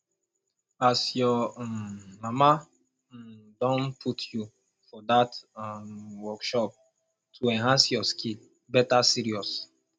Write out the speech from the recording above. as your um mama um don put you for dat um workshop to enhance your skill better serious